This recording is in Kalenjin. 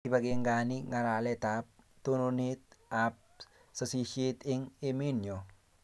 Kipangani ngalalet ab tononet ab sasishet eng emennyo